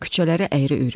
Küçələri əyri-üyrüdü.